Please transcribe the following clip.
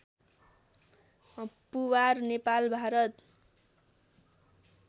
Puwar Nepal Bharat